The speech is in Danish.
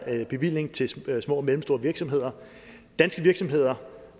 bevilling til små og mellemstore virksomheder danske virksomheder